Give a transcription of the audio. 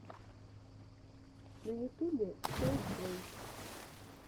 на ютубе колдплэй